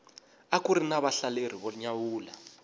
akuri na vahlaleri vo nyawula